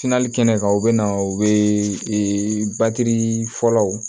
kɛnɛ kan u be na u be ee batiri fɔlɔw